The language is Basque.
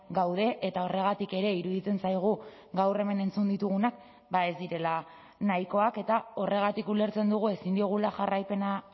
gaude eta horregatik ere iruditzen zaigu gaur hemen entzun ditugunak ez direla nahikoak eta horregatik ulertzen dugu ezin diogula jarraipena